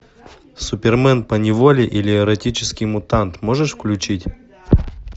супермен поневоле или эротический мутант можешь включить